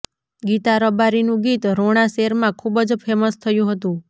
ગીતા રબારીનું ગીત રોણા શેરમા ખૂબ જ ફેમસ થયું હતું